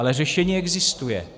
Ale řešení existuje.